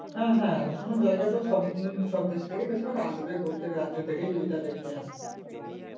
হ্যা হ্যা এত সুন্দর জায়গা তো সব উম সবদেশ থেকেই বেশিরভাগ আসবে প্রত্যেক রাজ্য থেকেই এটা দেখতে আসে